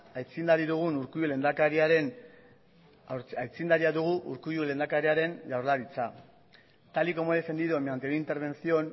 aitzindaria dugu urkullu lehendakariaren jaurlaritza tal y como he defendido en mi anterior intervención